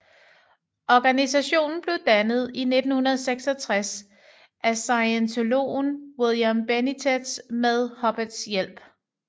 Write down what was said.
Organisationen blev dannet i 1966 af scientologen William Benitez med Hubbards hjælp